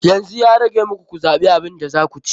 Yanzu ya rage muku ku zaɓi abin da za ku ci.